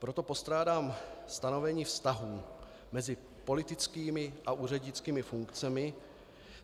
Proto postrádám stanovení vztahů mezi politickými a úřednickými funkcemi.